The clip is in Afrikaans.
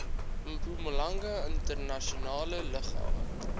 mpumalanga internasionale lughawe